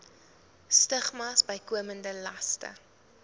stigmas bykomende laste